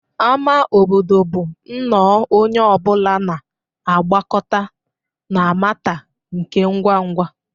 Ama obodo bụ nnọọ onye ọ bụla na-agbakọta na Matter nke ngwa ngwa